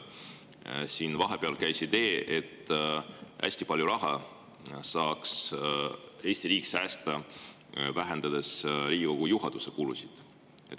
Siin käis vahepeal läbi idee, et Eesti riik saaks säästa hästi palju raha, vähendades Riigikogu juhatuse kulusid.